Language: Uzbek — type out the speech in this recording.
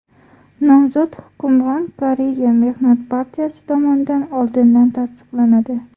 Nomzod hukmron Koreya Mehnat partiyasi tomonidan oldindan tasdiqlanadi.